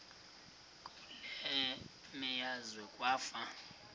kule meazwe kwafa